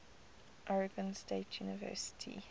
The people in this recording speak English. oregon state university